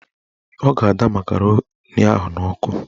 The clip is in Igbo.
Ọ ga-ada makaroni ahụ n'ọkụ